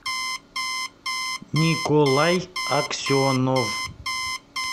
николай аксенов